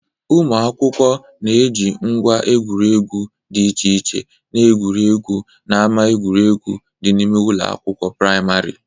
Ụmụ akwụkwọ na-eji ngwa egwuregwu dị iche iche na-egwuriegwu n'ama egwuregwu dị n'ime ụlọ akwụkwọ prịmarị.